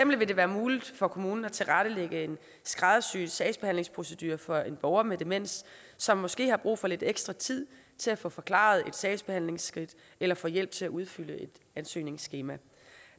vil det være muligt for kommunen at tilrettelægge en skræddersyet sagsbehandlingsprocedure for en borger med demens som måske har brug for lidt ekstra tid til at få forklaret et sagsbehandlingsskridt eller få hjælp til at udfylde et ansøgningsskema